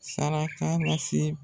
Saraka lase